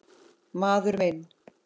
Maður minn.